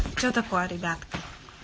что такое ребята